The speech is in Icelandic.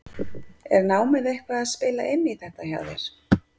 Er námið eitthvað að spila inn í þetta hjá þér?